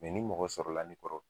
ni mɔgɔ sɔrɔ la ni kɔrɔ